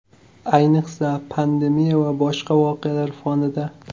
Ayniqsa, pandemiya va boshqa voqealar fonida.